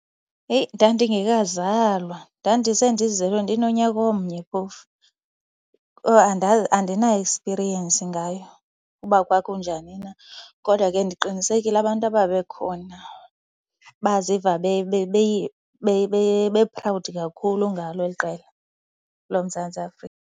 Heyi, ndandingekazalwa. Ndandisendizelwe, ndinonyaka omnye phofu. Andina-experience ngayo uba kwakunjani na kodwa ke ndiqinisekile abantu ababekhona baziva be-proud kakhulu ngalo eli qela loMzantsi Afrika.